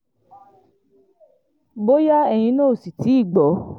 bóyá ẹ̀yin náà ò sì tì í gbọ́